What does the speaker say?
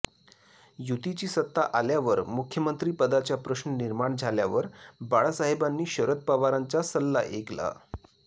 युतीची सत्ता आल्यावर मुख्यमंत्रीपदाचा प्रश्न निर्माण झाल्यावर बाळासाहेबांनी शरद पवारांचा सल्ला ऐकला